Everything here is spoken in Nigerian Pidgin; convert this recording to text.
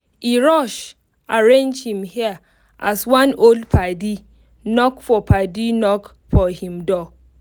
e rush arrange him hair as one old padi knock for padi knock for him door